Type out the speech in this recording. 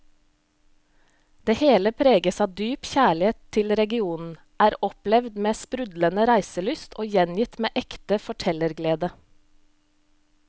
Det hele preges av dyp kjærlighet til regionen, er opplevd med sprudlende reiselyst og gjengitt med ekte fortellerglede.